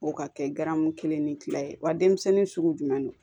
O ka kɛ garamu kelen ni kila ye wa denmisɛnnin sugu jumɛn don